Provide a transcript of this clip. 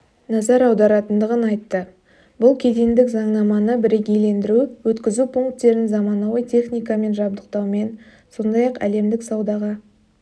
назар аударатындығын айтты бұл кедендік заңнаманы бірігейлендіру өткізу пунктерін заманауи техникамен жабдықтаумен сондай-ақ әлемдік саудаға